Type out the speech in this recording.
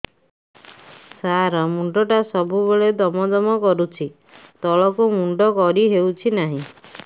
ସାର ମୁଣ୍ଡ ଟା ସବୁ ବେଳେ ଦମ ଦମ କରୁଛି ତଳକୁ ମୁଣ୍ଡ କରି ହେଉଛି ନାହିଁ